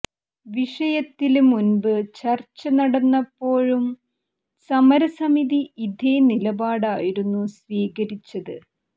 വിഷയത്തില് മുന്പ് ചര്ച്ച നടന്നപ്പോഴും സമരസമിതി ഇതേ നിലപാടായിരുന്നു സ്വീകരിച്ചത്